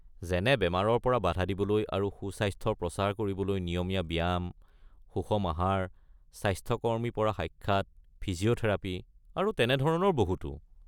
যেনে বেমাৰৰ বাধা দিবলৈ আৰু সুস্বাস্থ্যৰ প্ৰচাৰ কৰিবলৈ নিয়মীয়া ব্যায়াম, সুষম আহাৰ, স্বাস্থ্যকৰ্মী পৰা সাক্ষাৎ, ফিজিঅ’থেৰাপী আৰু তেনেধৰণৰ বহুতো।